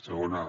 segona